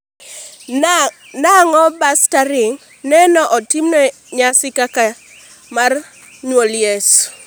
nang'o bas tarig no ne itimo e nyasi kaka mar nyuol yesu?